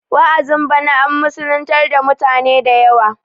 wa'azin bana an musulintar dautane da yawa